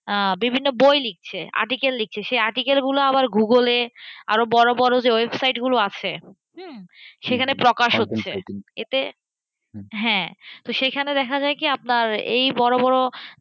আঁ বিভিন্ন লিখছে article লিখছে। সেই article গুলো Google এ আরো বড়ো বড়ো যে website গুলো আছে হম সেখানে প্রকাশ হচ্ছে। এতে হ্যাঁ। তো সেইখানে দেখা যায় কি আপনার এই বড়ো বড়ো